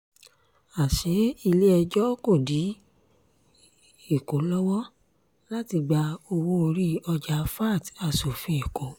àṣé ilé-ẹjọ́ kò dí èkó lọ́wọ́ láti gba owó-orí ọjà vat aṣòfin èkó